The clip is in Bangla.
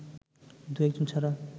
দু-একজন ছাড়া